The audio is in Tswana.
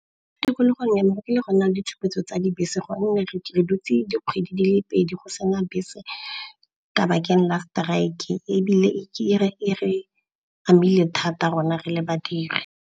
Mo tikologong ya me go kile go a nna le ditshupetso tsa dibese gonne re dutse dikgwedi di le pedi go sena bese ka bakeng la strike-e, ebile ke re e re amile thata rona re le badiri.